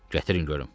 Gətirin görüm.